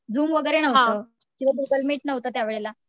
zoom वगैरे नव्हतं किंवा गुगल मीट नव्हतं त्यावेळेला